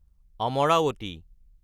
Amaravati